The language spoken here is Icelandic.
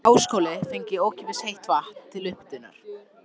Háskólinn fengi ókeypis heitt vatn til upphitunar.